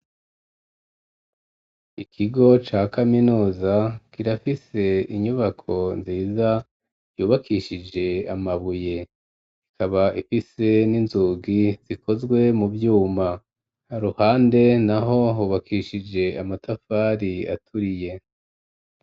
Ikigo ca kaminuza kirafise inyubako nziza yubakishije amabuye, ikaba ifise n'inzugi zikozwe mu vyuma, iruhande naho hubakishije amatafari aturiye.